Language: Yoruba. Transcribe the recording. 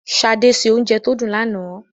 Ṣadé se oúnjẹ tó dùn lánàá.